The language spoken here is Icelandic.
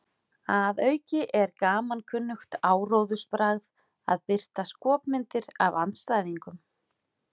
Að auki er gamalkunnugt áróðursbragð að birta skopmyndir af andstæðingnum.